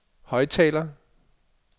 højttaler